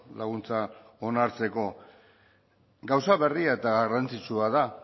laguntza onartzeko gauza berria eta garrantzitsua da